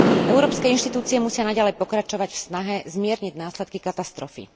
Európske inštitúcie musia naďalej pokračovať v snahe zmierniť následky katastrofy.